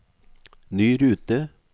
ny rute